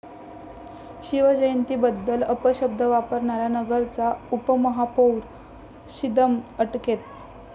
शिवजयंतीबद्दल अपशब्द वापरणारा नगरचा उपमहापौर छिंदम अटकेत